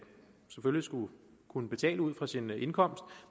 kunne betale ud fra sin indkomst